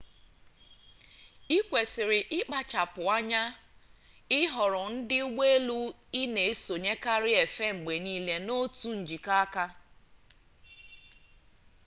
ị kwesịrị ịkpachapụ anya ịhọrọ ndị ụgbọ elu ị na-esonyekarị efe mgbe niile n'otu njikọ aka